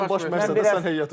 Zaten baş məşqçi sən heyəti qurub.